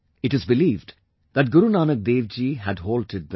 It is believed that Guru Nanak Dev Ji had halted there